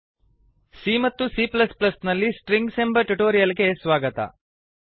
c ಮತ್ತು c ನಲ್ಲಿ strings ಎಂಬ ಟ್ಯುಟೋರಿಯಲ್ ಗೆ ಸ್ವಾಗತ